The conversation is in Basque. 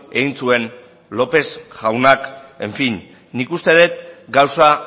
egin zuen lópez jaunak en fin nik uste dut gauza